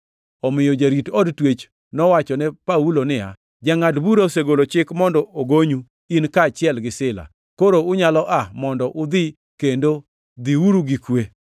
Omiyo jarit od twech nowachone Paulo niya, “Jangʼad bura osegolo chik mondo ogonyu, in kaachiel gi Sila. Koro unyalo aa mondo udhi kendo dhiuru gi kwe.”